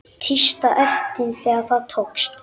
Tísta ertin þegar það tókst.